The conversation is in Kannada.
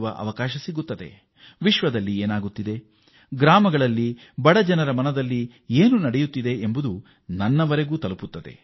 ವಾಸ್ತವವಾಗಿ ಏನೆಲ್ಲಾ ನಡೆಯುತ್ತಿದೆ ನಮ್ಮ ಹಳ್ಳಿಗಳಲ್ಲಿ ಮತ್ತು ಬಡಜನರ ಮನಸ್ಸಿನಲ್ಲಿ ಮತ್ತು ಹೃದಯದಲ್ಲಿ ಏನೆಲ್ಲಾ ವಿಚಾರ ಇದೆ ಎಂಬುದನ್ನೂ ನಾನು ಇದರಿಂದ ತಿಳಿದುಕೊಳ್ಳುತ್ತಿದ್ದೇನೆ